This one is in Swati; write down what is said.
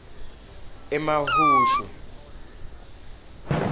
emahushu